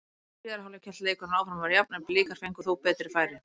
Í síðari hálfleik hélt leikurinn áfram að vera jafn en Blikar fengu þó betri færi.